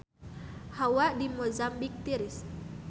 Hawa di Mozambik tiris